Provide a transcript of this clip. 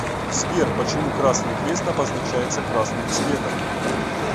сбер почему красный крест обозначается красным цветом